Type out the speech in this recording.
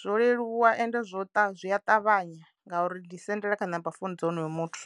zwo leluwa ende zwo ṱa zwi a ṱavhanya ngauri ndi sendela kha number phone dza honoyo muthu.